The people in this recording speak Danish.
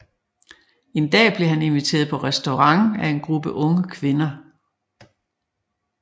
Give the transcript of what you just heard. En dag blev han inviteret på restaurant af en gruppe unge kvinder